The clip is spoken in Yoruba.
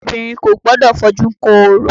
Obìnrin kò gbọdọ̀ fojú kan orò